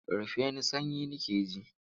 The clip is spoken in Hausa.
Rufe ni sanyi nake ji!